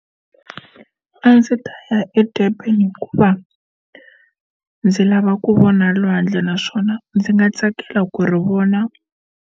A ndzi ta ya eDurban hikuva ndzi lava ku vona lwandle naswona ndzi nga tsakela ku ri vona.